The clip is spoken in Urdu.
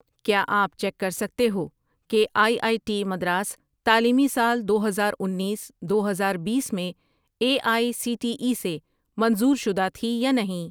کیا آپ چیک کر سکتے ہو کہ آئی آئی ٹی مدراس تعلیمی سال دو ہزار انیس ، دو ہزار بیس میں A I C T E سے منظور شدہ تھی یا نہیں؟